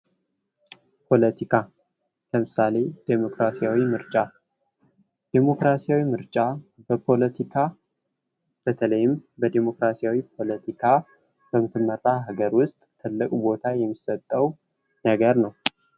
ፖለቲካ ለምሳሌ ዲሞክራሲያዊ ምርጫ ዴሞክራሲ ምርጫ በፖለቲካ በተለይም በዲሞክራሲያዊ ፖለቲካ በምትመራ ሀገር ውስጥ ትልቅ ቦታ የሚሰጠው ነገር ነው ::